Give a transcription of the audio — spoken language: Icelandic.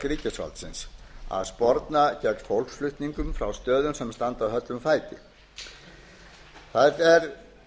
ríkisvaldsins að sporna gegn fólksflutningum frá stöðum sem standa höllum fæti það er